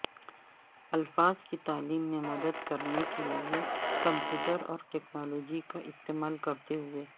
الفاظ کی تعلیم میں مدد کرنے کے لئے کمپیوٹر اور ٹیکنالوجی کا استعمال کرتے ہوئے